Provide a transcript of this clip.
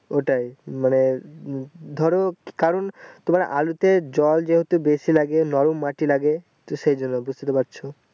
ওটাই মানে ধরো কারণ তোমার আলুতে জল যেহুতু বেশি লাগে নরম মাটি লাগে তো সেইজন্য মানে বুঝতেতোপারছো